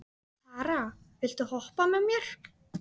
Tara, viltu hoppa með mér?